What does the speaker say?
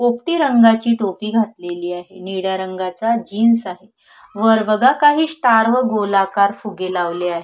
पोपटी रंगाची टोपी घातलेली आहे निळ्या रंगाचा जीन्स आहे वर बघा काही स्टार व गोलाकार फुगे लावले आहे.